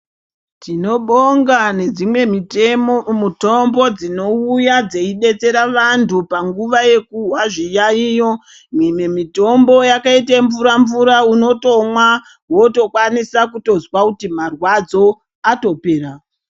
Tinobonga nedzimwe mitombo dzinouya dzedetsera vantupanguva yekuzwa zviyaiyo. Mimwe mitombo yakaite mvura-mvura unotomwa wotokwanisa kutozwa kuti mwarwadzo atopera.